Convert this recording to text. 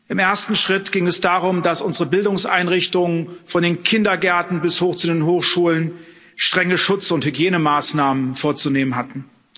Im ersten Schritt ging es darum, dass unsere Bildungseinrichtungen von den Kindergärten bis hoch zu den Hochschulen strenge Schutz und Hygienemaßnahmen vorzunehmen hatten.